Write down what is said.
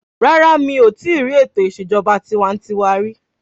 Rárá mí ò tíì rí ètò ìṣèjọba tiwańtiwa rí.